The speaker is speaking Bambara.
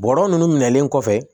Bɔlɔlɔ ninnu minɛlen kɔfɛ